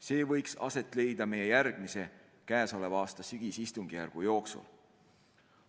See võiks aset leida meie järgmise, käesoleva aasta sügisistungjärgu jooksul.